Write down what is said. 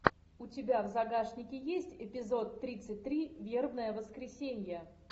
у тебя в загашнике есть эпизод тридцать три вербное воскресенье